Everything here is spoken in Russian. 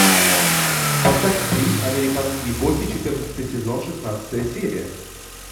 поставь фильм американские боги четырнадцатый сезон шестнадцатая серия